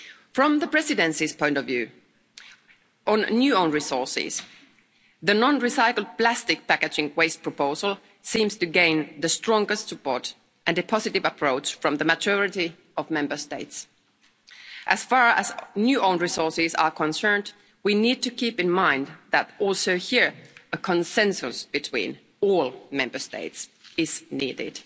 From the Presidency's point of view, on new own resources the non recycled plastic packaging waste proposal seems to gain the strongest support, and a positive approach from the majority of Member States. As far as new own resources are concerned, we need to keep in mind that also here a consensus between all Member States is needed.